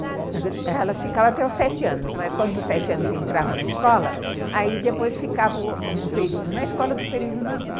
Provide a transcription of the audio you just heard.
Não, elas ficavam até os sete anos, mas quando os sete anos entravam na escola, aí depois ficava um período na escola e outro período na rua.